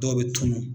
Dɔw bɛ tunun